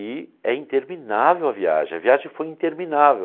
E é interminável a viagem, a viagem foi interminável.